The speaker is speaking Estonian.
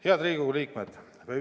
Head Riigikogu liikmed!